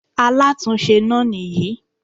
Alátúnse náà nìyí